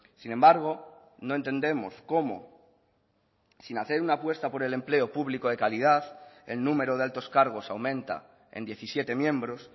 sin embargo no entendemos cómo sin hacer una apuesta por el empleo público de calidad el número de altos cargos aumenta en diecisiete miembros